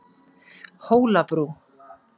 Hólabrú